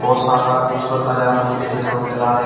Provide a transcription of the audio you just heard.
बहोत शानदार खुबसुरत नजारा मुझे देखने को मिल रहा है।